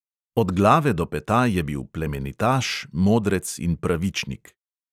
Od glave do peta je bil plemenitaš, modrec in pravičnik.